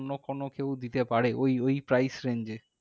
অন্য কোনো কেউ দিতে পারে, ওই ওই price range এ?